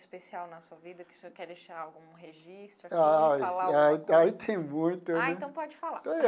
Especial na sua vida que o senhor quer deixar algum registro? Ah ah aí tem muito né. Ah então pode falar.